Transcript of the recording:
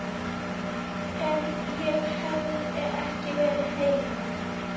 Ef ég hefði ekki verið heima.